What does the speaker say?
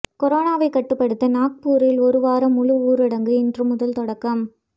கொரோனாவை கட்டுப்படுத்த நாக்பூரில் ஒருவார முழு ஊரடங்கு இன்று முதல் தொடக்கம்